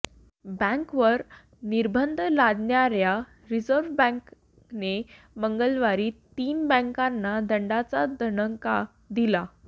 बँकेवर निर्बंध लादणाऱया रिझर्व्ह बँकेने मंगळवारी तीन बँकांना दंडाचा दणका दिला